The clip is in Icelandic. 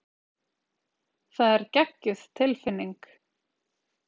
Það er geggjuð tilfinning.